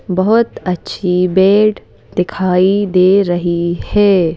बहुत अच्छी बेड दिखाई दे रही है।